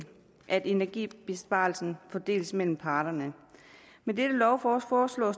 at energibesparelsen fordeles mellem parterne med dette lovforslag